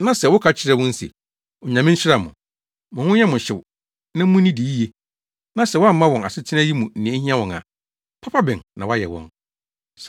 na sɛ wokɔka kyerɛ wɔn se, “Onyame nhyira mo! Mo ho nyɛ mo hyew na munnidi yiye” na sɛ woamma wɔn asetena yi mu nea ehia wɔn a, papa bɛn na woayɛ wɔn?